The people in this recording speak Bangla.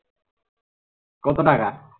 কত টাকা